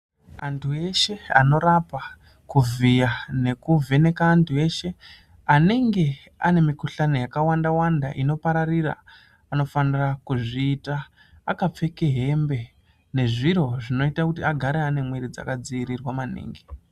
Antu eshe anorapa, kuvhiya nekuvheneka antu eshe anenge ane mikuhlani yakawanda wanda inopararira, anofanira kuzviita akapfeke hembe nezviro zvinoita kuti agare ane mwiri dzakadziirirwa maningi.